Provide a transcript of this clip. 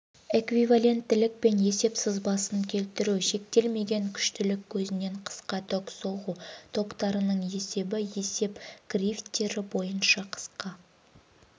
эквиваленттіліккен есеп сызбасын келтіру шектелмеген күштілік көзінен қысқа ток соғу токтарының есебі есеп кривтері бойынша қысқа